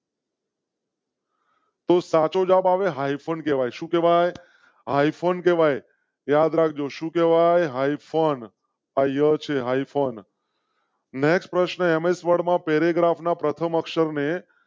તો સાચો જવાબ હાઈ ફોન આઈફોન યાદ રાખ જો શું કેવાય હાઈ ફોન . ને પ્રશ્નો એમ એસ વર્મા પેરેગ્રાફ ના પ્રથમ અક્ષર ને